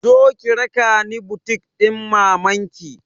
Zo ki raka ni butik ɗin maman ki!